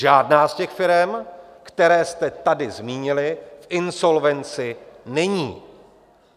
Žádná z těch firem, které jste tady zmínili, v insolvenci není.